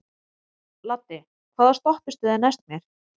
Laddi, hvaða stoppistöð er næst mér?